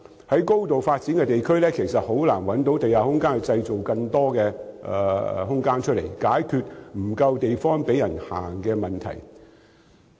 在已經高度發展的地區，其實難以在地面製造更多空間，解決沒有足夠地方供行人行走的問題。